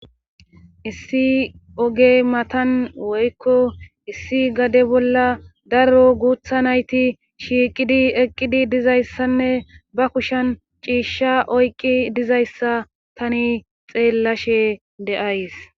issi ogey matan woykko issi gade bolla daro guutha nayti shiiqidi eqqidi dizayssanne ba kushan ciishsha oyqi dizayssa tani xeellashe deays